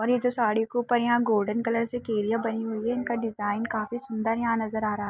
और ये जो साड़ी के ऊपर यहाँ गोल्डन कलर से केरिया बनी हुई है इनका डिज़ाइन काफी सुन्दर यहाँ नज़र आ रहा--